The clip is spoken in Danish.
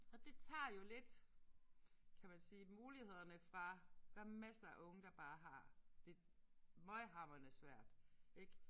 Og det tager jo lidt kan man sige mulighederne fra. Der er masser af unge der bare har det møghamrende svært ik